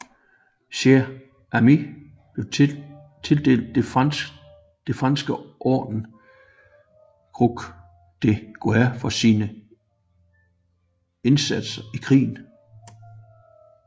Cher Ami blev tildelt det franske orden Croix de Guerre for sine indsatser i krigen